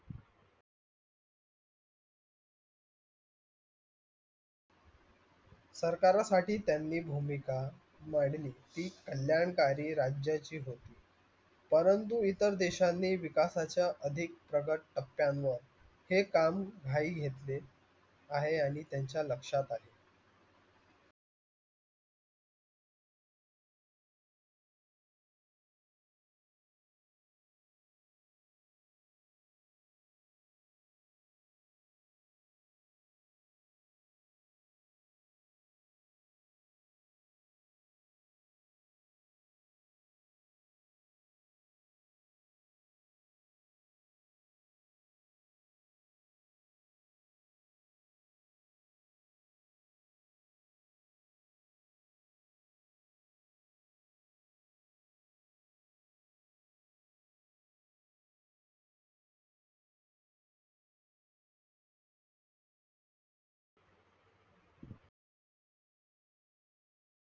सरकारासाटी त्यांनी भूमिका मंडली ती कल्याणकरी राज्याची होती. परंतु इतर देशनी विकशाच्या अधिक प्रगत टप्यनवर ते काम घाई घेतले आहे आणि त्यांच्या लक्षात आले.